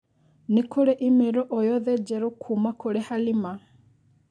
Nĩkũrĩ i-mīrū o yothe Njerũ kuuma kũri Halima.